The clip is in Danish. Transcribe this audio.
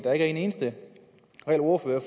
er en eneste reel ordfører